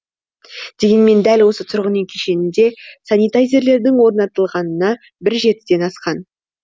дегенмен дәл осы тұрғын үй кешенінде санитайзерлердің орнатылғанына бір жетіден асқан